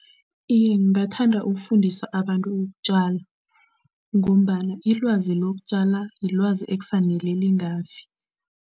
Iye, ngingathanda ukufundisa abantu ukutjala ngombana ilwazi lokutjala yilwazi ekufanele lingafi.